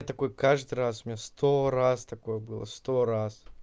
я такой каждый раз у меня сто раз такое было сто раз